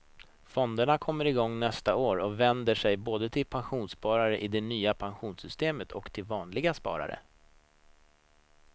Fonderna kommer igång nästa år och vänder sig både till pensionssparare i det nya pensionssystemet och till vanliga sparare.